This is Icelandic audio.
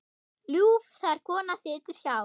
Ljúf þar kona situr hjá.